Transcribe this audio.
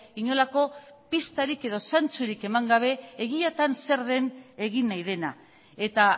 inolako pistarik edo zentsurik eman gabe egiatan zer den egin nahi dena eta